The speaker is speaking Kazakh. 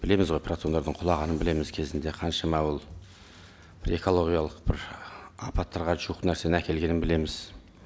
білеміз ғой протондардың құлағанын білеміз кезінде қаншама ол бір экологиялық бір апаттарға жуық нәрсені әкелгенін білеміз